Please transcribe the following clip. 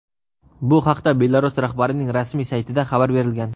Bu haqda Belarus rahbarining rasmiy saytida xabar berilgan.